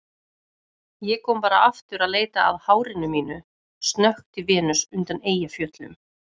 Ég kom bara aftur að leita að hárinu mínu, snökti Venus undan Eyjafjöllum.